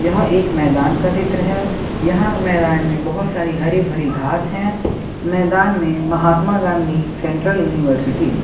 यह एक मैदान का चित्र है यहां मैदान में बहोत सारी हरी भरी घास है मैदान में महात्मा गांधी सेंट्रल यूनिवर्सिटी --